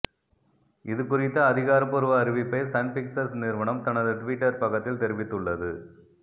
இது குறித்த அதிகாரப்பூர்வ அறிவிப்பை சன் பிக்சர்ஸ் நிறுவனம் தனது டுவிட்டர் பக்கத்தில் தெரிவித்துள்ளது